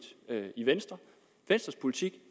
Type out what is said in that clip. i venstre venstres politik